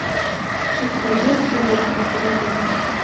у тебя есть любовь без тормозов